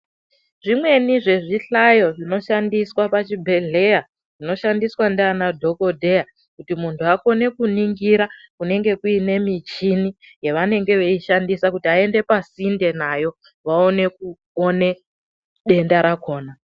Zvimweni zvezvi hlayo zvinoshandiswa pazvibhedhlera zvinoshandiswa ndiadhokodheya kuti muntu akhone kuningira kunenge kuine muchini yavanenge veishandisa kuti ainde pasinde nayo kuti vaone, kuone denda rakona.